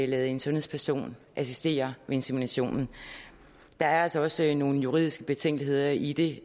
lade en sundhedsperson assistere ved inseminationen der er altså også en juridisk betænkelighed i i det